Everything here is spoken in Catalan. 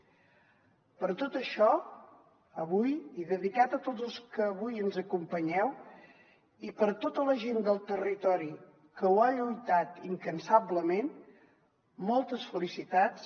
per tot això avui i dedicat a tots els que avui ens acompanyeu i a tota la gent del territori que ho ha lluitat incansablement moltes felicitats